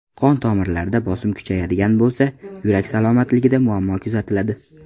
Qon-tomirlarda bosim kuchayadigan bo‘lsa, yurak salomatligida muammo kuzatiladi.